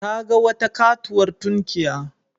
Ta ga wata katuwar tunkiya.